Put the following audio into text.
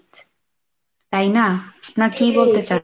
তাই না? না কি বলতে চাও?